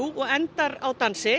og endar á dansi